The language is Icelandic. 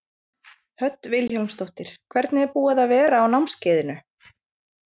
Hödd Vilhjálmsdóttir: Hvernig er búið að vera á námskeiðinu?